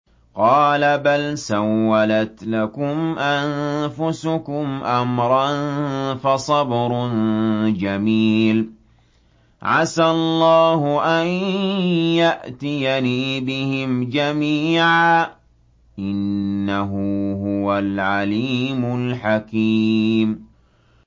قَالَ بَلْ سَوَّلَتْ لَكُمْ أَنفُسُكُمْ أَمْرًا ۖ فَصَبْرٌ جَمِيلٌ ۖ عَسَى اللَّهُ أَن يَأْتِيَنِي بِهِمْ جَمِيعًا ۚ إِنَّهُ هُوَ الْعَلِيمُ الْحَكِيمُ